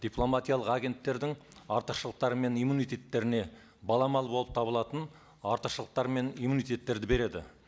дипломатиялық агенттердің артықшылықтары мен иммунитеттеріне баламалы болып табылатын артықшылықтар мен иммунитеттерді береді